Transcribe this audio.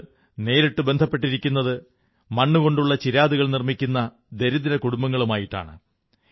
അതു നേരിട്ടു ബന്ധപ്പെട്ടിരിക്കുന്നത് മണ്ണുകൊണ്ടുള്ള ചിരാതുകൾ നിർമ്മിക്കുന്ന ദരിദ്ര കുടുംബങ്ങളുമായിട്ടാണ്